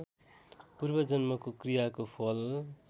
पूर्वजन्मको क्रियाको फल